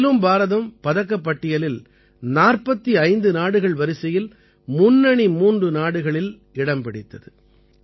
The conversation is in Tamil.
இதிலும் பாரதம் பதக்கப் பட்டியலில் 45 நாடுகள் வரிசையில் முன்னணி மூன்று நாடுகளில் இடம் பிடித்தது